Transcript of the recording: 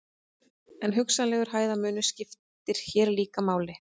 Hrygningartími lúðunnar er frá desember til maí, breytilegur eftir svæðum.